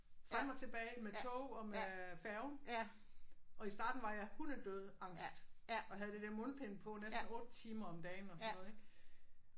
Frem og tilbage med tog og med færgen og i starten var jeg hunde død angst og havde det der mundbind på næsten 8 timer om dagen og sådan noget ik